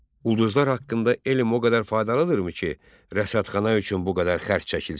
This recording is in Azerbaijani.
Ulduzlar haqqında elm o qədər faydalıdırmı ki, rəsədxana üçün bu qədər xərc çəkilsin?